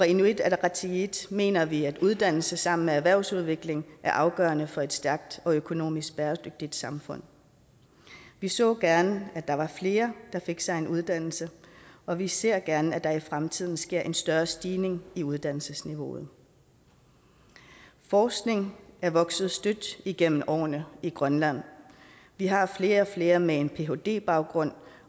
inuit ataqatigiit mener vi at uddannelse sammen med erhvervsudvikling er afgørende for et stærkt og økonomisk bæredygtigt samfund vi så gerne at der var flere der fik sig en uddannelse og vi ser gerne at der i fremtiden sker en større stigning i uddannelsesniveauet forskningen er vokset støt igennem årene i grønland vi har flere og flere med en phd baggrund